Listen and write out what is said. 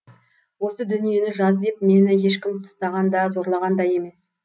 осы дүниені жаз деп мені ешкім қыстаған да зорлаған да емес